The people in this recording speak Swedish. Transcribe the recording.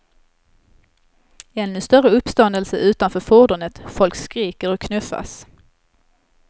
Ännu större uppståndelse utanför fordonet, folk skriker och knuffas.